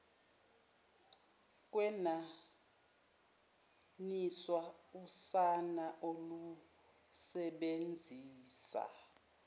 kwenaniswa usana olusebenzisa